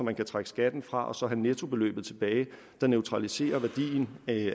man kan trække skatten fra og så have nettobeløbet der neutraliserer værdien